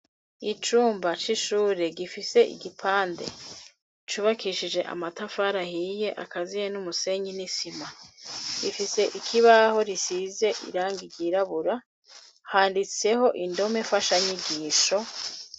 Icumba c'ishure gifise igipande cubakishije amatafari ahiye akaziye n'umusenyi n'isima ifise ikibaho risize irangi ryirabura handitseho indome mfasha nyigisho.